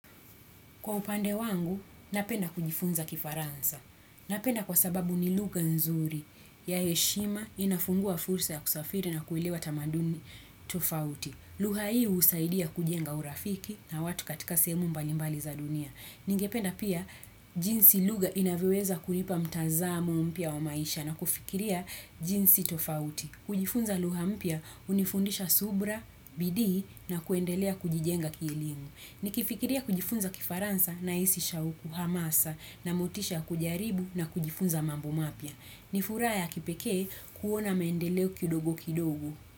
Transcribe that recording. Kwa upande wangu, napenda kujifunza kifaransa. Napenda kwa sababu ni lugha nzuri ya heshima inafungua fursa ya kusafiri na kuelewa tamaduni tofauti. Lugha hii husaidia kujenga urafiki na watu katika sehemu mbalimbali za dunia. Ningependa pia, jinsi lugha inavyoweza kuipa mtazamo mpya wa maisha na kufikiria jinsi tofauti. Kujifunza lugha mpya hunifundisha subra, bidii na kuendelea kujijenga kielimu. Nikifikiria kujifunza kifaransa nahisi shauku hamasa na motisha ya kujaribu na kujifunza mambo mapya. Ni furaha ya kipekee kuona maendeleo kidogo kidogo.